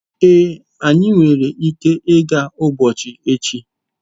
Ee, anyị nwere ike ịga ugbo echi